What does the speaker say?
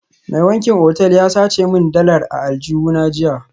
Mai wankin otal ya sace min dalar a aljihuna jiya